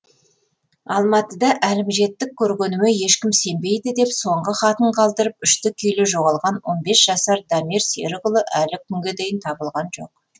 алматыда әлімжеттік көргеніме ешкім сенбейді деп соңғы хатын қалдырып үшті күйлі жоғалған он бес жасар дамир серікұлы әлі күнге дейін табылған жоқ